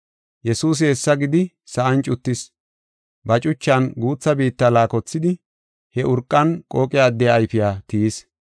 Yesuusi hessa gidi sa7an cuttis. Ba cuchan guutha biitta laakothidi he urqan qooqe addiya ayfiya tiyis.